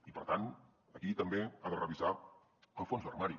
i per tant aquí també ha de revisar el fons d’armari